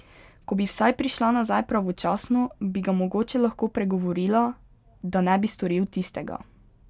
Ko bi vsaj prišla nazaj pravočasno, bi ga mogoče lahko pregovorila, da ne bi storil tistega.